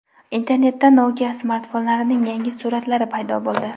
Internetda Nokia smartfonlarining yangi suratlari paydo bo‘ldi .